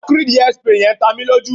acrid hairspray yen ta mi loju